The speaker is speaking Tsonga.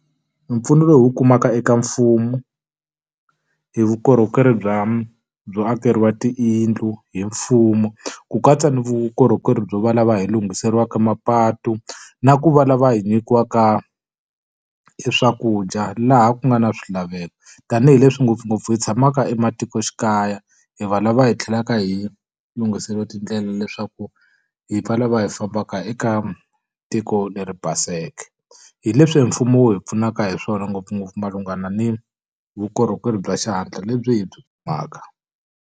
Mpfuno lowu hi wu kumaka eka mfumo hi vukorhokeri bya byo akeriwa tiyindlu hi mfumo, ku katsa ni vukorhokeri bya va lava hi lunghiseriwaka mapatu, na ku va lava hi nyikiwaka e swakudya laha ku nga na swilaveko. Tanihi leswi ngopfungopfu hi tshamaka ematikoxikaya, hi va lava hi tlhelaka hi lunghiseriwa tindlela leswaku hi pfala va lava hi fambaka eka tiko leri baseke. Hi leswi hi mfumo wu hi pfunaka hi swona ngopfungopfu malunghana ni vukorhokeri bya xihatla lebyi hi byi .